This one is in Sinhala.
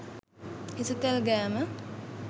හිසතෙල් ගෑම